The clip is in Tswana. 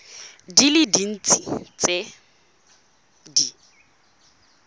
di le dintsi tse di